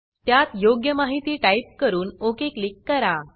त्यात योग्य माहिती टाईप करून ओक क्लिक करा